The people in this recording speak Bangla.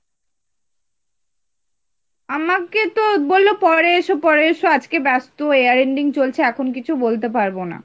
আমাকে তো বললো পরে এসো পরে এসো, আজকে ব্যাস্ত year ending চলছে এখন কিছু বলতে পারবো না।